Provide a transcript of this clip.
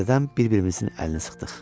Təzədən bir-birimizin əlini sıxdıq.